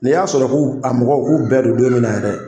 Ni y'a sɔrɔ ku a mɔgɔw k'u bɛɛ do don min na yɛrɛ